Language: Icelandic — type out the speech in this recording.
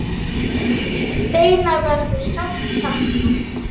Steina verður sárt saknað.